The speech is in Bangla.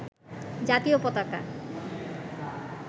জাতীয় পতাকা